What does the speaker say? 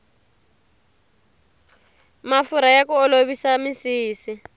mafurha ya ku olovisa misisi